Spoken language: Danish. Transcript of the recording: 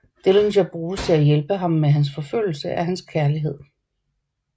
Dillinger bruges til at hjælpe ham med hans forfølgelse af hans kærlighed